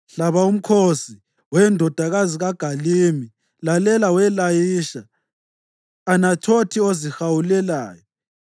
Hlaba umkhosi, We! Ndodakazi kaGalimi, lalela we Layisha! Anathothi ozihawulelayo!